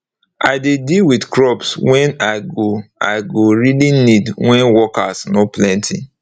i dey deal with crops wen i go i go really need wen workers nor plenty